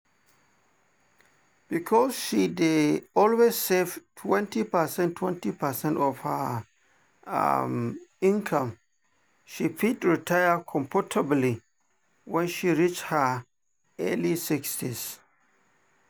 because she dey always save 20 percent 20 percent of her um income she fit retire comfortably when she reach her early sixties.